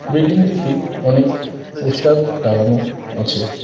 বিল্ডিংটিতে অনেক পোস্টার লাগানো আছে।